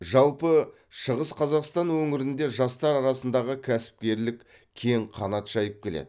жалпы шығыс қазақстан өңірінде жастар арасындағы кәсіпкерлік кең қанат жайып келеді